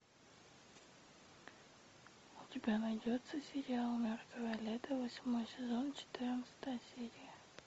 у тебя найдется сериал мертвое лето восьмой сезон четырнадцатая серия